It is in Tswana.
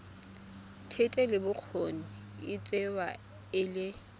thetelelobokgoni e tsewa e le